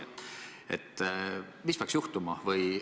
Mis peaks selleks juhtuma?